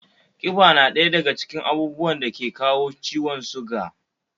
Kiba na ɗaya daga cikin abun dake kawo ciwon sugar